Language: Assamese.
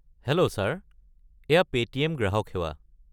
হেল্ল' ছাৰ, এয়া পে'টিএম গ্ৰাহক সেৱা।